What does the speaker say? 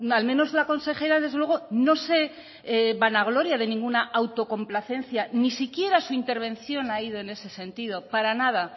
al menos la consejera desde luego no se vanagloria de ninguna autocomplacencia ni siquiera su intervención ha ido en ese sentido para nada